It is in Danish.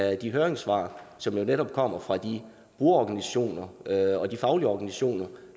af de høringssvar som netop kommer fra de brugerorganisationer og de faglige organisationer